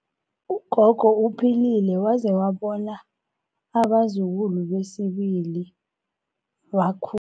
Ugogo uphilile waze wabona abazukulu besibili bewakhu